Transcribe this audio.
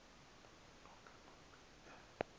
zonke ma zibe